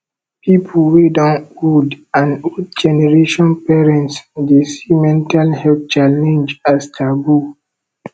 pipo wey don old and old generation parents dey see mental health challenge as taboo